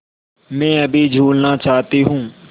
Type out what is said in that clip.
मैं अभी झूलना चाहती हूँ